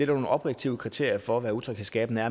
nogle objektive kriterier for hvad utryghedsskabende